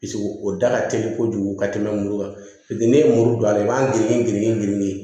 o da ka teli kojugu ka tɛmɛ muru kan ne ye muru don a la i b'a girin girin girin